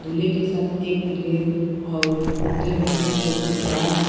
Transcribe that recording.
दूल्हे के साथ एक पिले और कुर्ते में एक व्यक्ति खड़ा है।